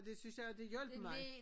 Det synes jeg at det hjalp mig